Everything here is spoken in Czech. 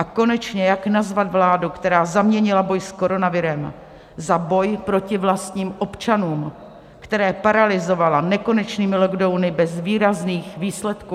A konečně jak nazvat vládu, která zaměnila boj s koronavirem za boj proto vlastním občanům, které paralyzovala nekonečnými lockdowny bez výrazných výsledků?